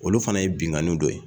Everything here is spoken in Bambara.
Olu fana ye binnkanniw dɔ ye